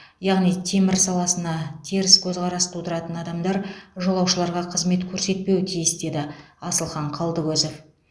яғни темір саласына теріс көзқарас тудыратын адамдар жолаушыларға қызмет көрсетпеуі тиіс деді асылхан қалдыкозов